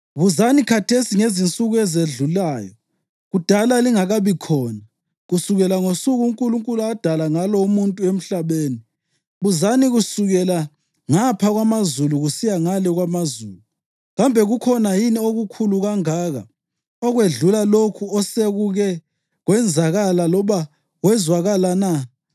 “Buzani khathesi ngezinsuku ezedlulayo, kudala lingakabi khona, kusukela ngosuku uNkulunkulu adala ngalo umuntu emhlabeni; buzani kusukela ngapha kwamazulu kusiya ngale kwamazulu. Kambe kukhona yini okukhulu kangaka okwedlula lokhu osekuke kwenzakala loba kwezwakala na?